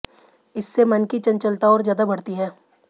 इससे मन की चंचलता और ज्यादा बढ़ती है